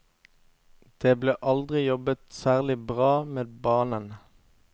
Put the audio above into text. Det ble aldri jobbet særlig bra med banen.